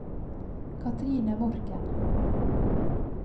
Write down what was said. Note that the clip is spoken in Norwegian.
Cathrine Morken